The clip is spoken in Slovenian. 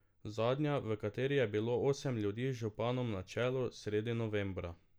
Zadnja, v kateri je bilo osem ljudi z županom na čelu, sredi novembra.